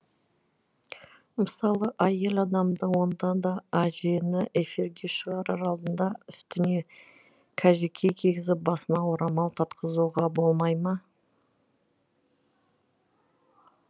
мысалы әйел адамды онда да әжені эфирге шығарар алдында үстіне кәжекей кигізіп басына орамал тартқызуға болмай ма